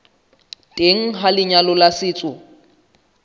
teng ha lenyalo la setso